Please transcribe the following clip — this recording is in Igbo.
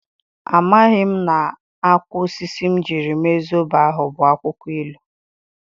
A maghi m na-akwo osisi m jiri mee Zobo ahụ bu akwụkwọ ilu.